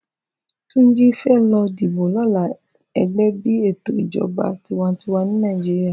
Tunji fè lò dìbó lòlá ègè bi étó ijòbá tiwàntiwá ni Nigeria